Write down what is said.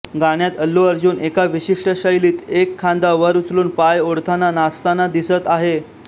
गाण्यात अल्लू अर्जुन एका विशिष्ट शैलीत एक खांदा वर उचलून पाय ओढताना नाचताना दिसत आहे